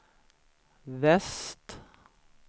väst